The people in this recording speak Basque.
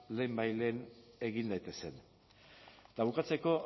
lehenbailehen egin daitezen eta bukatzeko